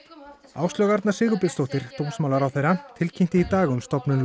Áslaug Arna Sigubjörnsdóttir dómsmálaráðherra tilkynnti í dag um stofnun